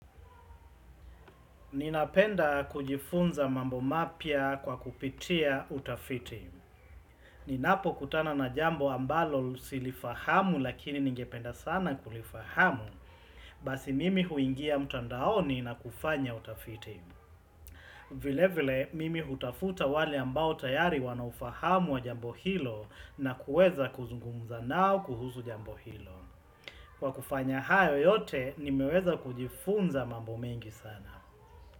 Ninapenda kujifunza mambo mapya kwa kupitia utafiti Ninapokutana na jambo ambalo silifahamu lakini ningependa sana kulifahamu Basi mimi huingia mtandaoni na kufanya utafiti vile vile mimi hutafuta wale ambao tayari wanaufahamu wa jambo hilo na kuweza kuzungumza nao kuhusu jambo hilo Kwa kufanya hayo yote nimeweza kujifunza mambo mengi sana.